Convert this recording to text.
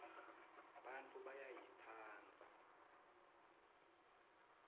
bantfu bayayitsandza